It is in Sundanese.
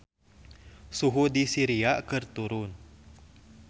Suhu di Syria keur turun